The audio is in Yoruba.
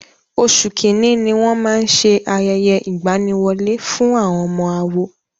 Oṣù Kínní ní wón máa ń ṣe ayẹyẹ ìgbaniwọlé fún àwọn ọmọ àwo.